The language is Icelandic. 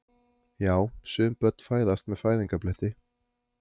Já, sum börn fæðast með fæðingarbletti.